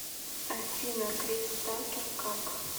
афина крис такер как